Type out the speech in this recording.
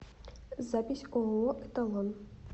запись ооо эталон